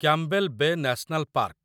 Campbell Bay National park